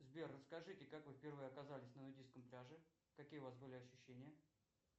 сбер расскажите как вы впервые оказались на нудистском пляже какие у вас были ощущения